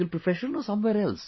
profession or somewhere else